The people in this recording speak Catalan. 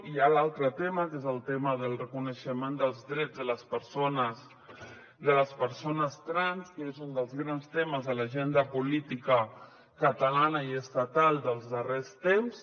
i hi ha l’altre tema que és el tema del reconeixement dels drets de les persones trans que és un dels grans temes de l’agenda política catalana i estatal dels darrers temps